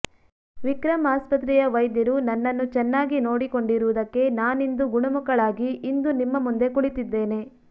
ವಿಕ್ರಂ ಆಸ್ಪತ್ರೆಯ ವೈದ್ಯರು ನನ್ನನ್ನು ಚೆನ್ನಾಗಿ ನೋಡಿಕೊಂಡಿರುವುದಕ್ಕೆ ನಾನಿಂದು ಗುಣಮುಖಳಾಗಿ ಇಂದು ನಿಮ್ಮ ಮುಂದೆ ಕುಳಿತಿದ್ದೇನೆ